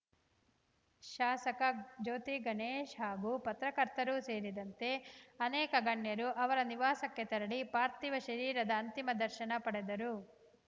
ಶಾಸಕ ಜ್ಯೋತಿಗಣೇಶ್ ಹಾಗೂ ಪತ್ರಕರ್ತರು ಸೇರಿದಂತೆ ಅನೇಕ ಗಣ್ಯರು ಅವರ ನಿವಾಸಕ್ಕೆ ತೆರಳಿ ಪಾರ್ಥೀವ ಶರೀರದ ಅಂತಿಮ ದರ್ಶನ ಪಡೆದರು